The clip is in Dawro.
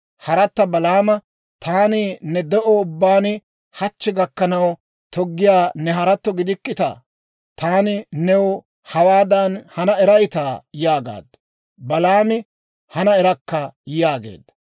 Haratta Balaama, «Taani ne de'o ubbaan hachchi gakkanaw toggiyaa ne haratto gidikkitaa? Taani new hawaadan hana erayttaa?» yaagaaddu. Balaami, «Hana erakka» yaageedda.